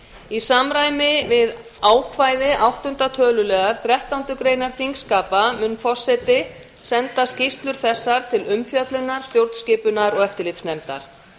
í samræmi við ákvæði áttunda töluliðar þrettándu greinar þingskapa mun forseti senda skýrslur þessar til umfjöllunar stjórnskipunar og eftirlitsnefndar